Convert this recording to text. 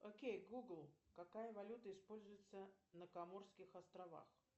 окей гугл какая валюта используется на коморских островах